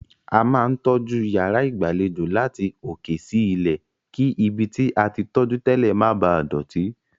A máa ń tọ́jú yàrá ìgbàlejò láti òkè sí ilẹ̀, kí ibi tí a tí tọ́jú tẹ́lẹ̀ má bàá dọ̀tí.